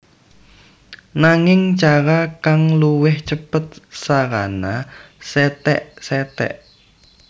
Nanging cara kang luwih cêpêt sarana setékseték